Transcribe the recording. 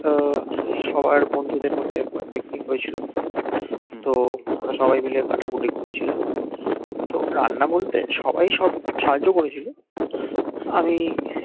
তো সবার বন্ধুদের মধ্যে একবার picnic হয়েছিল তো আমরা সবাই মিলে কাটাকুটি করে ছিলাম তো রান্না বলতে সবাই সব সাহায্য করেছিল আমি